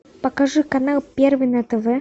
покажи канал первый на тв